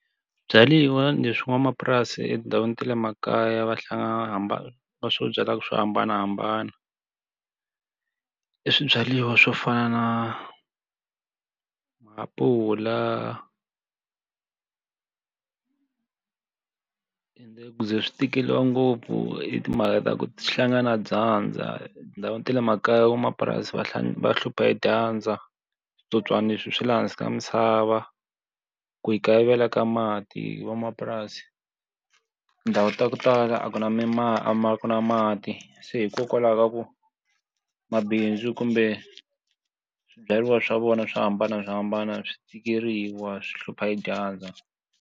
Swibyariwa leswi n'wamapurasi etindhawini ta le makaya va va swo byala swo hambanahambana, i swibyariwa swo fana na maapula ende ku ze swi tikeriwa ngopfu i timhaka ta ku hlangana na dyandza. Etindhawini ta le makaya van'wamapurasi va va hlupha dyandza, switsotswana leswi swa laha hansi ka misava. Ku kayivela ka mati van'wamapurasi, tindhawu ta ku tala a ku na a ku na mati se hikokwalaho ka ku mabindzu kumbe swibyariwa swa vona swo hambanahambana swi tikeriwa, swi hlupha hi dyandza.